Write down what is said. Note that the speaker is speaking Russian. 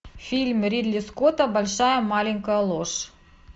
фильм ридли скотта большая маленькая ложь